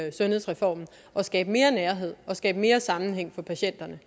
i sundhedsreformen at skabe mere nærhed at skabe mere sammenhæng for patienterne